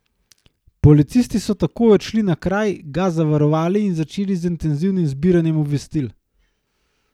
Policisti so takoj odšli na kraj, ga zavarovali in začeli z intenzivnim zbiranjem obvestil.